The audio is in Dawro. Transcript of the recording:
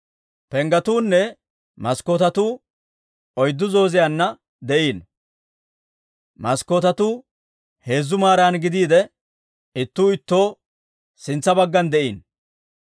Penggetunne maskkootetuu oyddu zooziyaanna de'iino; maskkootetuu heezzu maaran gidiide, ittuu ittoo sintsa baggan de'iino.